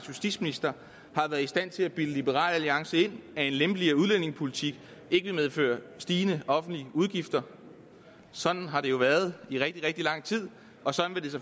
justitsminister har været i stand til at bilde liberal alliance ind at en lempeligere udlændingepolitik ikke vil medføre stigende offentlige udgifter sådan har det jo været i rigtig rigtig lang tid og sådan